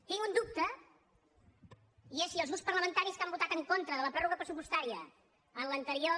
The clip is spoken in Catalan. tinc un dubte i és si els grups parlamentaris que han votat en contra de la pròrroga pressupostària en l’anterior